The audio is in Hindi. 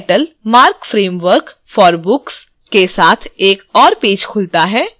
समान title marc framework for books bk के साथ एक और पेज खुलता है